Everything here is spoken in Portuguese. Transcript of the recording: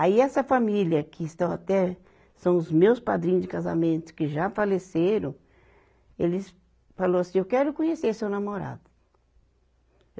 Aí essa família que estão até, são os meus padrinhos de casamento que já faleceram, eles falou assim, eu quero conhecer seu namorado.